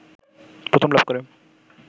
প্রথম লাভ করে